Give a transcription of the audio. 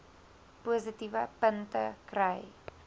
positiewe punte kry